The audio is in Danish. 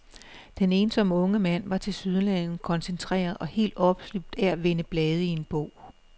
Den ensomme unge mand var tilsyneladende koncentreret og helt opslugt af at vende blade i en bog.